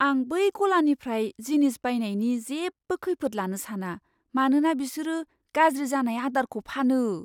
आं बै गलानिफ्राय जिनिस बायनायनि जेबो खैफोद लानो साना, मानोना बिसोरो गाज्रि जानाय आदारखौ फानो।